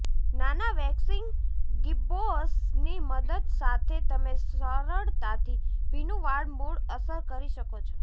નાના waxing gibbous ની મદદ સાથે તમે સરળતાથી ભીનું વાળ મૂળ અસર કરી શકો છો